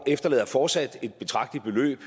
efterlader fortsat et betragteligt beløb